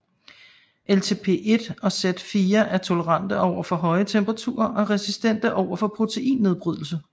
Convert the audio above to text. LTP1 og Z4 er tolerante over for høje temperaturer og er resistente over for proteinnedbrydelse